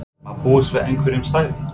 Má búast við einhverjum stærri?